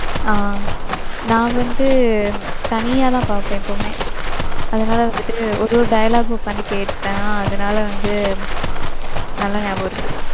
ஆஹ் நான் வந்து தனியா தான் பாப்பேன் எப்பயுமே. அதுனால வந்துட்டு ஒரு ஒரு dialogue உக்காந்து கேப்பேன். அதுனால வந்து நல்லா நியாபகம் இருக்கும்.